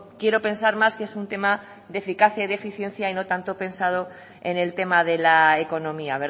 quiero pensar más que es un tema de eficacia y de eficiencia y no tanto pensado en el tema de la economía